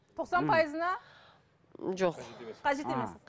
тоқсан пайызына жоқ қажет емес